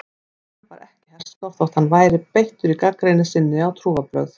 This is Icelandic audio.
Og hann var ekki herskár þótt hann væri beittur í gagnrýni sinni á trúarbrögð.